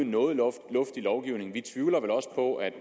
noget luftig lovgivning vi tvivler vel også på at